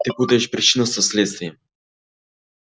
ты путаешь причину со следствием